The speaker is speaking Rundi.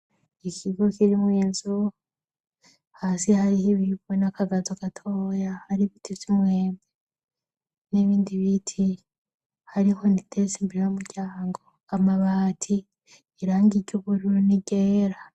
Ikigo kirimwo inzu, hasi hariho ibiribwe n'akagazo gatoya, hari ibiti vy'umwembe n'ibindi biti hari inkoni iteretse imbere y'umuryango, amabati irangi ry'ubururu n'iryera.